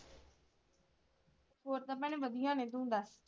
ਹੋਰ ਤਾਂ ਭੈਣੇ ਵਧੀਆ ਨੇ ਤੂੰ ਦੱਸ?